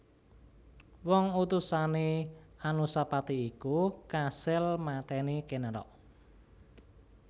Wong utusané Anusapati iku kasil matèni Ken Arok